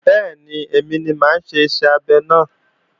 Bẹ́ẹ̀ni, èmi ni mà á ṣe iṣẹ́ abẹ náà